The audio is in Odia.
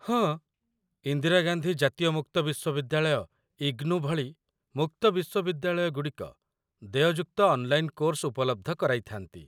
ହଁ, ଇନ୍ଦିରାଗାନ୍ଧୀ ଜାତୀୟ ମୁକ୍ତ ବିଶ୍ୱବିଦ୍ୟାଳୟ, ଇଗ୍ନୁ, ଭଳି ମୁକ୍ତ ବିଶ୍ୱବିଦ୍ୟାଳୟଗୁଡ଼ିକ ଦେୟଯୁକ୍ତ ଅନ୍‌ଲାଇନ୍‌ କୋର୍ସ ଉପଲବ୍ଧ କରାଇଥାନ୍ତି